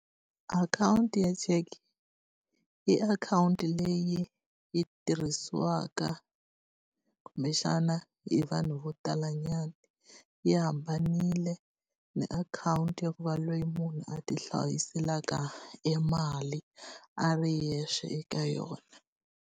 Akhawunti ya cheke i akhawunti leyi yi tirhisiwaka kumbexana hi vanhu vo talanyana, yi hambanile na akhawunti ya ku va loyi munhu a tihlayiselaka e mali a ri yexe eka yona.